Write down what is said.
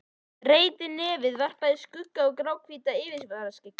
Breitt nefið varpaði skugga yfir gráhvítt yfirvaraskeggið.